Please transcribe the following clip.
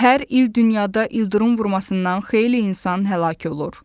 Hər il dünyada ildırım vurmasından xeyli insan həlak olur.